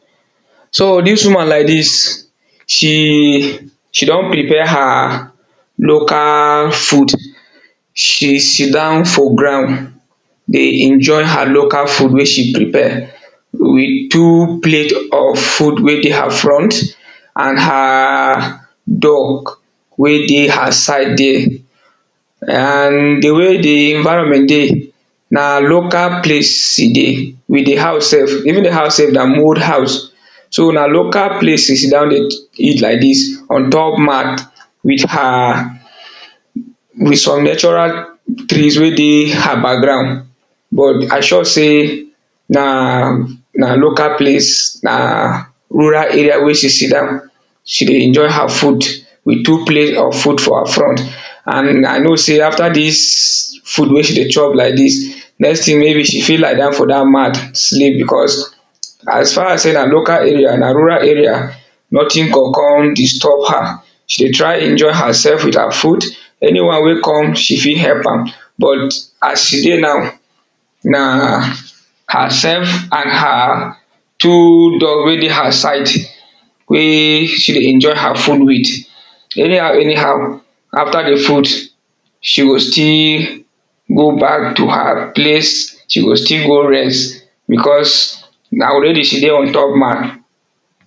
So dis woman like dis she don prepare her local food she sit down for ground dey enjoy her local food wey she prepare with two plate of food wey dey her front and her dog wey dey her side dere and di way di environment dey na local place e dey di house sef even di house sef na mould house so na local place she sit down dey eat like dis on top mat with some natural trees wey dey her background but I sure sey na local place na rural area wey she sitdown she dey enjoy her food with two plate of food for her front and I know sey after dis food wey she dey chop like dis let sey maybe she fit lie down for dat mat sleep becos as far sey na local area na rural area, notin go come disturb her, she dey try enjoy hersef with her food any one wey come she fit help out but as she dey now na hersef and her two dog wey dey her side wey she dey enjoy her food with any how any how after di food she go still go back to her place she go still go rest becos now already she dey ontop mat.